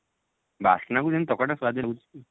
ବାସ୍ନା କୁ ସେମତି ତରକାରୀ ଟା ପୁରା ସୁଆଦିଆ ଲାଗୁଛି ଆଉ